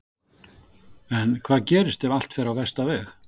En hvað gerist ef allt fer á versta veg?